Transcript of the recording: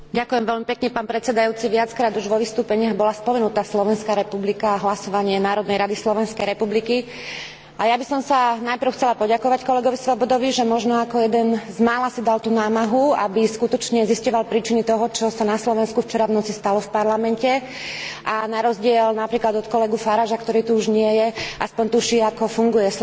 Viackrát už vo vystúpeniach bola spomenutá Slovenská republika a hlasovanie Národnej rady Slovenskej republiky a ja by som sa najprv chcela poďakovať kolegovi Swobodovi, že možno ako jeden z mála si dal tú námahu, aby skutočne zisťoval príčiny toho, čo sa na Slovensku včera v noci stalo v Parlamente a na rozdiel napríklad od kolegu Faragea, ktorý tu už nie je, aspoň tuší, ako funguje slovenský parlamentarizmus.